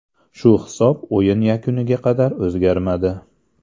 Shu hisob o‘yin yakuniga qadar o‘zgarmadi.